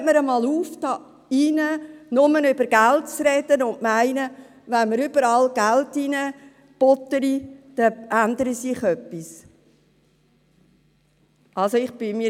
Hören wir einmal auf, hier drin nur von Geld zu sprechen und so zu tun, als ändere sich etwas, wenn man überall Geld reinbuttert.